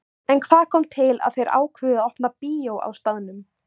En hvað kom til að þeir ákváðu að opna bíó á staðnum?